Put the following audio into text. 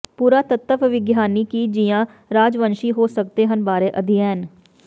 ਪੁਰਾਤੱਤਵ ਵਿਗਿਆਨੀ ਕੀ ਜ਼ੀਆ ਰਾਜਵੰਸ਼ੀ ਹੋ ਸਕਦੇ ਹਨ ਬਾਰੇ ਅਧਿਐਨ